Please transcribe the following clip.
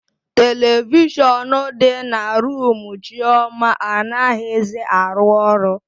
Televishọnụ dị na rumu Chioma anaghizi arụ ọrụ.